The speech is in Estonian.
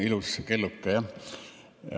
Ilus kelluke jah.